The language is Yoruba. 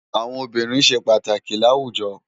Awòn óbìrín sé pàtákì làwújò